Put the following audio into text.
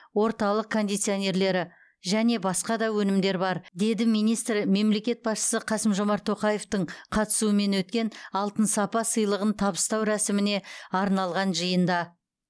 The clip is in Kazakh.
орталық кондиционерлері және басқа да өнімдер бар деді министр мемлекет басшысы қасым жомарт тоқаевтың қатысуымен өткен алтын сапа сыйлығын табыстау рәсіміне арналған жиында